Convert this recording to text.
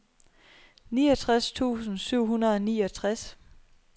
niogtres tusind syv hundrede og niogtres